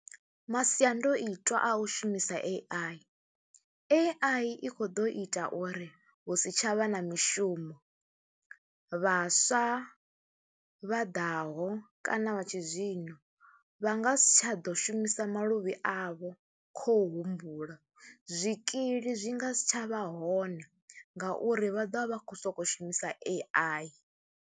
Masiandoitwa a u shumisa A_I, A_I i khou ḓo ita uri hu si tsha vha na mishumo, vhaswa vha ḓaho kana vha tshizwino vha nga si tsha ḓo shumisa maluvhi avho khou humbula, zwikili zwi nga si tsha vha hone ngauri vha ḓo vha vha khou sokou shumisa A_I.